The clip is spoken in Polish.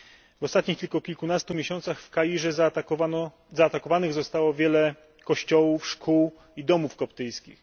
W ostatnich tylko kilkunastu miesiącach w Kairze zaatakowanych zostało wiele kościołów, szkół i domów koptyjskich.